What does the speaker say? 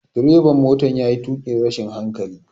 Direban motan ya yi tukin rashin hankali.